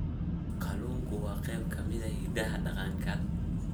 Kalluunku waa qayb ka mid ah hidaha dhaqanka.